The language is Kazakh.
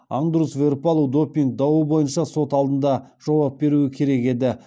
андрус веэрпалу допинг дауы бойынша сот алдында жауап беруі керек еді